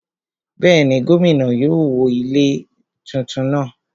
Bẹ́ẹ̀ni, gómìnà yóò wó àwọn ilé tuntun náà